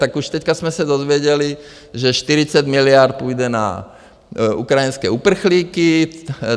Tak už teď jsme se dozvěděli, že 40 miliard půjde na ukrajinské uprchlíky.